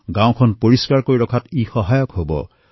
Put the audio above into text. গাঁওসমূহক স্বচ্ছ কৰি ৰাখিবলৈ সহায় প্ৰাপ্ত হব